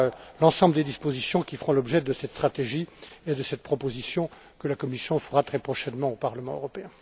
Voilà l'ensemble des dispositions qui feront l'objet de cette stratégie et de cette proposition que la Commission fera très prochainement au Parlement européen.